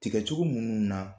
Tigɛ cogo munnu na